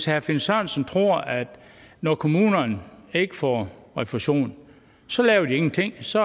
herre finn sørensen tror at når kommunerne ikke får refusion så laver de ingenting så